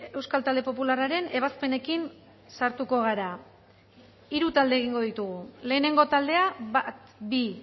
euskal talde popularraren ebazpenekin sartuko gara hiru talde egingo ditugu lehenengo taldea bat bi